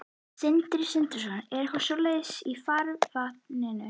Sindri Sindrason: Er eitthvað svona í farvatninu?